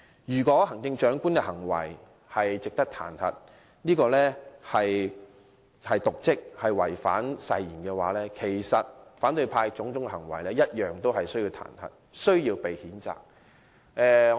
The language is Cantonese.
如果說行政長官瀆職和違反誓言，因而值得彈劾，那麼反對派同樣應因其種種行為而受到彈劾和譴責。